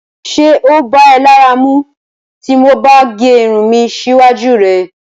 Ṣé o bá è lára mù tó mo bá gé irùn mi síwájú rẹ̀?